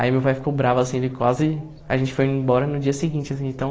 Aí meu pai ficou bravo, assim, ele quase... A gente foi embora no dia seguinte, assim de tão